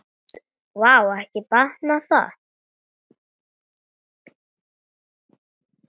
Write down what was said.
Vá, ekki batnar það!